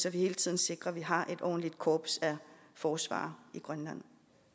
at vi hele tiden sikrer at vi har et ordentligt korps af forsvarere i grønland